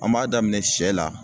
An b'a daminɛ sɛ la